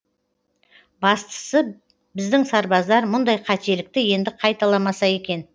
бастысы біздің сарбаздар мұндай қателікті енді қайталамаса екен